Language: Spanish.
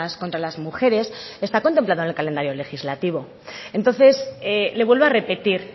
contra las mujeres está contemplado en el calendario legislativo entonces le vuelvo a repetir